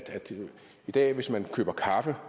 i dag hvis man køber kaffe